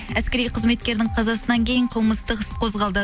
әскери қызметкердің қазасынан кейін қылмыстық іс қозғалды